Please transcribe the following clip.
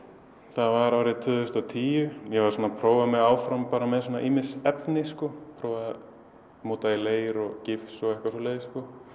það var árið tvö þúsund og tíu ég var að prófa mig áfram með ýmis efni prófaði að móta í leir og gifs og eitthvað svoleiðis